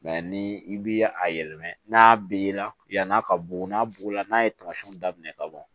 ni i bi a yɛlɛma n'a bi ye la yan'a ka bugu n'a bugɔla n'a ye tamasiyɛnw daminɛ ka ban